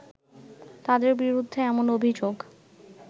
তাদের বিরুদ্ধে এমন অভিযোগ